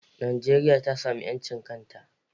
Najeriya ta samu 'yancin kanta.